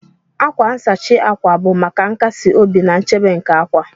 Akwa nsachi akwa bụ maka nkasi obi na nchebe nke akwa